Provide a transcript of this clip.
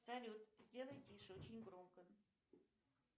салют сделай тише очень громко